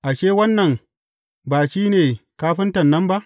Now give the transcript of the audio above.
Ashe, wannan ba shi ne kafinta nan ba?